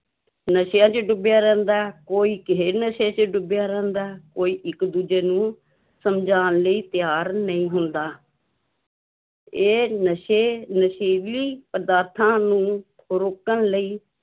ਨਸ਼ਿਆਂ ਵਿੱਚ ਡੁੱਬਿਆਂ ਰਹਿੰਦਾ ਹੈ ਕੋਈ ਕਿਸੇ ਨਸ਼ੇ ਵਿੱਚ ਡੁੱਬਿਆਂ ਰਹਿੰਦਾ ਹੈ ਕੋਈ ਇੱਕ ਦੂਜੇ ਨੂੰ ਸਮਝਾਉਣ ਲਈ ਤਿਆਰ ਨਹੀਂ ਹੁੰਦਾ ਇਹ ਨਸ਼ੇ ਨਸ਼ੀਲੀ ਪਦਾਰਥਾਂ ਨੂੰ ਰੋਕਣ ਲਈ